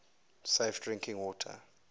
safe drinking water